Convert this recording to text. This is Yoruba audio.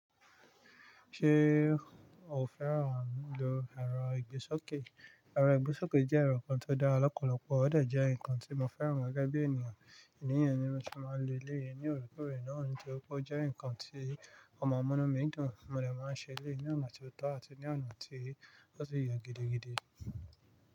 Ṣé o fẹ́ràn ẹ̀rọ ìgbésókè? Ẹ̀rọ ìgbésókè jẹ́ ẹ̀rọ kan tó dára lọ́pọ̀lọpọ̀ ó dà jẹ́ ǹkan tí mo fẹ́ràn gẹ́gẹ́ bí ènìyàn. Nìyẹn ni mo ti máa ń lo lẹ́yìn ní òrèkóòrè náà ní tí ó kó jẹ́ ǹkan tí ó máa ń mú nú mi dùn. Mo dẹ̀ máa ń ṣe eléyìí ní ọ̀nà tí ó tọ́ àti ní ọ̀nà tí ó sì yẹ gidigidi.